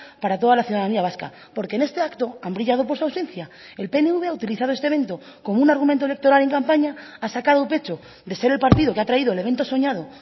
para toda la ciudadanía vasca porque en este acto han brillado por su ausencia el pnv ha utilizado este evento como un argumento electoral en campaña ha sacado pecho de ser el partido que ha traído el evento soñado